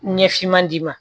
Ɲɛ finma d'i ma